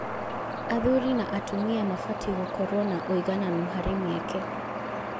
Athuri na atumia mabatiĩ gũkorwo na uigananu harĩ mĩeke.